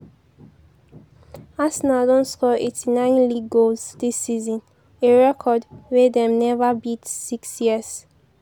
arsenal don score 89 league goals dis season- a record wey dem neva beat six years